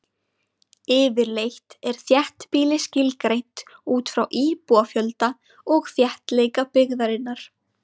Yfirleitt er þéttbýli skilgreint út frá íbúafjölda og þéttleika byggðarinnar.